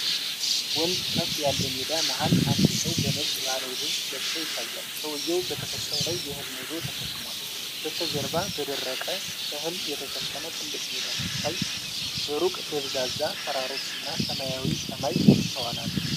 ወንዝፈፍ ያለ ሜዳ መሃል አንድ ሰው በነጭ ባህላዊ ልብስ ለብሶ ይታያል። ሰውዬው በትከሻው ላይ የእህል ነዶ ተሸክሟል። በስተጀርባ በደረቀ እህል የተሸፈነ ትልቅ ሜዳ ሲታይ፣ በሩቅ ደብዛዛ ተራሮች እና ሰማያዊ ሰማይ ይስተዋላሉ።